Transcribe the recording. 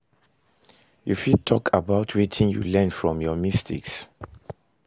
You fit talk about wetin you learn from your mistakes?